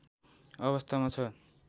अवस्थामा छ।